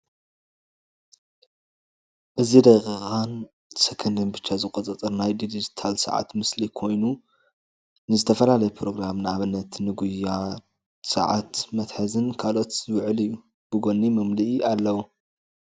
እዚ ደቂቃን ሰከንድን ብቻ ዝቆፅር ናይ ድጅታል ሰዓት ምስሊ ኮይኑ ንዝተፈላለየ ፕሮግራም ንአብነት ንጉያ ሰዓት መትሐዝን ካልኦትን ዝውዕል እዩ፡፡ ብጎኒ መምልኢ አለዎ፡፡